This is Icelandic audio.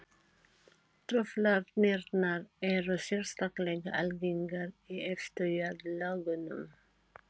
Truflanirnar eru sérstaklega algengar í efstu jarðlögunum.